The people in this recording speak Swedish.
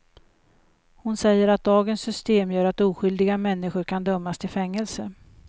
Hon säger att dagens system gör att oskyldiga människor kan dömas till fängelse.